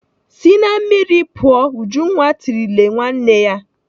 "Si na mmiri pụọ!" Ujunwa tirile nwanne ya.